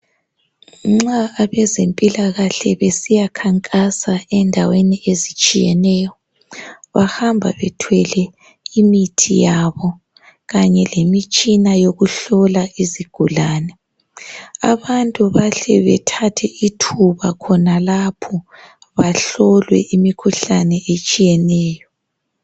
Nxa abezempilakahle besiya khankasa endaweni ezitshiyeneyo bahamba bethwele imithi yabo kanye lemitshina yokuhlola izigulane abantu bahle bethathe ithuba khonalapho bahlolwe imikhuhlane etshiyeneyo.